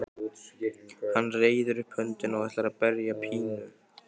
Hann reiðir upp höndina og ætlar að berja Pínu.